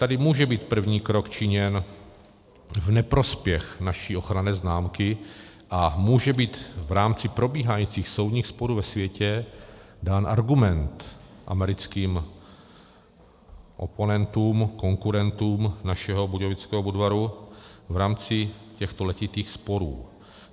Tady může být první krok činěn v neprospěch naší ochranné známky a může být v rámci probíhajících soudních sporů ve světě dán argument americkým oponentům, konkurentům našeho budějovického Budvaru v rámci těchto letitých sporů.